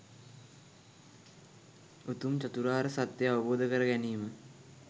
උතුම් චතුරාර්ය සත්‍යය අවබෝධ කරගැනීම